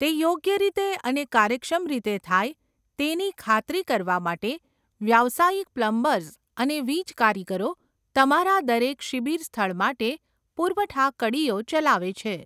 તે યોગ્ય રીતે અને કાર્યક્ષમ રીતે થાય તેની ખાતરી કરવા માટે વ્યાવસાયિક પ્લમ્બર્સ અને વીજકારીગરો તમારા દરેક શિબીર સ્થળ માટે પુરવઠા કડીઓ ચલાવે છે.